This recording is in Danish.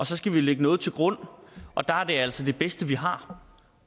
så skal vi lægge noget til grund og der er det altså det bedste vi har